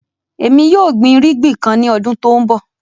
Ẹmi yóò gbìn ìrìgbìn kàn ni ọdún tó nbọ.